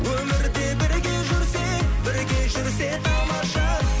өмірде бірге жүрсек бірге жүрсек тамаша